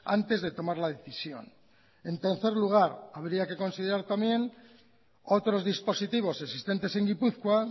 antes de tomar la decisión en tercer lugar habría que considerar también otros dispositivos existentes en gipuzkoa